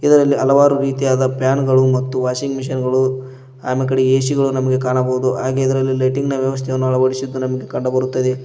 ಇದರಲ್ಲಿ ಹಲವಾರು ರೀತಿಯಾದ ಪ್ಯಾನು ಗಳು ಮತ್ತು ವಾಷಿಂಗ್ ಮಷೀನ್ ಗಳು ಅಮೆಕಡಿಗೆ ಏ_ಸಿ ಗಳು ನಮಗೆ ಕಾಣಬಹುದು ಹಾಗೆ ಇದರಲ್ಲಿ ಲೈಟಿಂಗ್ ನ ವ್ಯವಸ್ಥೆಯನ್ನು ಅಳವಡಿಸಿದ್ದು ನಮಗೆ ಕಂಡುಬರುತ್ತದೆ.